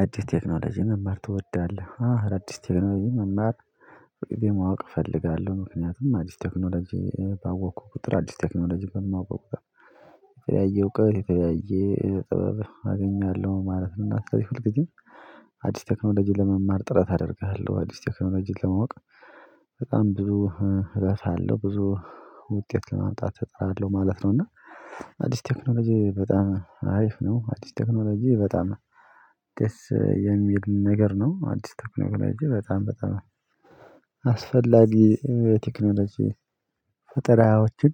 አዲስ ቴክኖሎጂ መማር ትወዳለህ? አዎ አዳዲስ ቴክኖሎጂ መማር ሁሌም ማወቅ እፈልጋለሁ ምክንያቱም አዲስ ቴክኖሎጂ ባወቅኩ ቁጥር አዲስ ቴክኖሎጂ በማወቅበት የተለያየ እወቀት የተለያየ ጥበብ አገኛለሁ ማለት ነው። እናት ስለዚህ ሁልጊዜም አዲስ ቴክኖሎጂን ለመማር ጥረት አደርግሃለሁ አዲስ ቴክኖሎጂን ለማወቅ በጣም ብዙ እረሳለው ብዙ ውጤት ለማምጣት እጥራለሁ ማለት ነው። እና አዲስ ቴክኖሎጂ በጣም አሪፍ ነው። አዲስ ቴክኖሎጂ በጣም ደስ የሚል ነገር ነው። አዲስ ቴክኖሎጂ በጣም በጣም አስፈላጊ ቴክኖሎጂ ፈጠራዎችን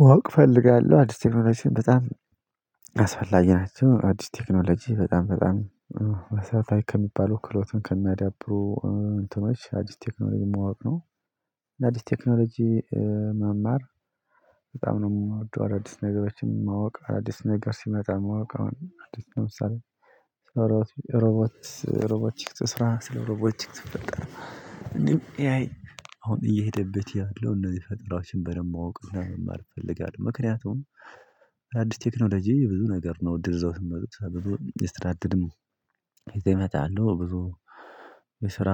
ማወቅ እፈልጋለሁ። አዲስ ቴክኖሎጂን በጣም አስፈላጊ ናቸው። አዲስ ቴክኖሎጂ በጣም በጣም መሰረታዊ ከሚባሉ ክህሎትን ከሚያዳብሩ እንትኖች አዲስ ቴክኖሎጂ ማወቅ ነው። ለአዲስ ቴክኖሎጂ መማር በጣም ነው የምወደው። አዳዲስ ነገሮችን ማወቅ አዳዲስ ነገር ሲመጣ ማወቅ አሁን አዲስ ለምሳሌ ስለ ሮቦት ሮቦት ሮቦቲክስ ስራ ስለ ሮቦትክ ፈጠራ እንዲሁም ኤአይ አሁን እየሄደበት ያለው እነዚህ ፈጠራዎችን በደንብ ማወቅ እና መማር እፈልጋለሁ። ምክንያቱም አዲስ ቴክኖሎጂ ብዙ ነገር ነው እድል ይዘው የሚመጡት ብዙ የስራ እድልም ይመጣሉ ብዙ የስራ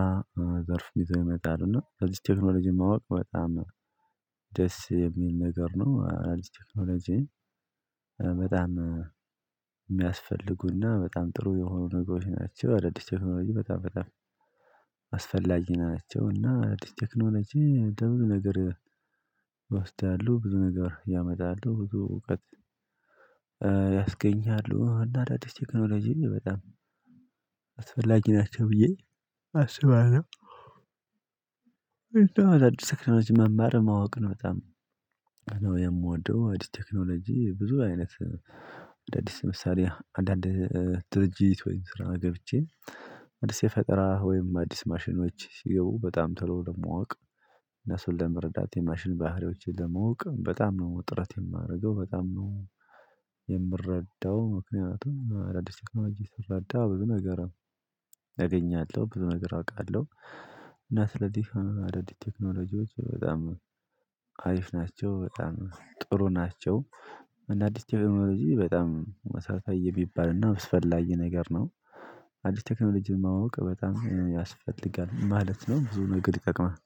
ዘርፍ ይዘው ይመጣሉ እና እነዚህን ቴክኖሎጂ ማወቅ በጣም ደስ የሚል ነገር ነው። አዳዲስ ቴክኖሎጂ በጣም የሚያስፈልጉና በጣም ጥሩ የሆኑ ነገሮች ናቸው። አዳዲስ ቴክኖሎጂ በጣም በጣም አስፈላጊ ናቸውና ቴክኖሎጂ ደግሞ ነገር ወስዳለሁ ብዙ ነገር ያመጣሉ እውቀት ያስገኛሉ እና አዳዲስ ቴክኖሎጂን በጣም አስፈላጊ ናቸው ብዬ አስባለሁ። እንደው አዲስ ቴክኖሎጂ መማር ማወቅን በጣም ነው የምወደው። አዲስ ቴክኖሎጂ ብዙ አይነት አዲስ ለምሳሌ አንዳንድ ድርጅት ወይም ስራ ገብቼ አዲስ የፈጠራ ወይም አዲስ ማሽኖች ሲገቡ በጣም ቶሎ ለማወቅ እና እሱን ለመረዳት የማሽን ባህሪዎችን ለማወቅ በጣም ነው ጥረት የማደርገው። በጣም ነው የምረዳው ምክንያቱም አዳዲስ ቴክኖሎጂ ስረዳ ብዙ ነገር እገኛለሁ ብዙ ነገር አውቃለሁ። እና ስለዚህ ሆኖ አዳዲስ ቴክኖሎጂዎች በጣም አሪፍ ናቸው በጣም ጥሩ ናቸው። እንደ አዲስ ቴክኖሎጂ በጣም መሰረታዊ የሚባልና አስፈላጊ ነገር ነው። አዲስ ቴክኖሎጂን ማወቅ በጣም ያስፈልጋል ማለት ነው። ብዙ ነገር ይጠቅማል